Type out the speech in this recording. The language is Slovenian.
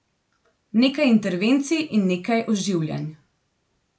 Nekaj intervencij in nekaj oživljanj.